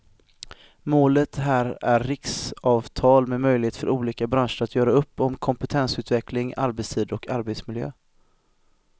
Målet här är riksavtal med möjlighet för olika branscher att göra upp om kompetensutveckling, arbetstider och arbetsmiljö.